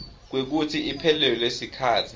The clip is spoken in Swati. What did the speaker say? kwekutsi iphelelwe sikhatsi